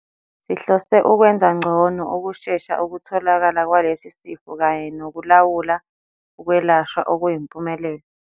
"Sihlose ukwenza ngcono ukushesha ukutholakala kwalesi sifo kanye nokulawula ukwelashwa okuyimpumelelo."